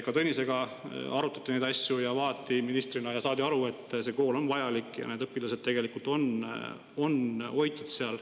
Ka Tõnisega arutati neid asju, vaadati ministriga ja saadi aru, et see kool on vajalik ja need õpilased on seal hoitud.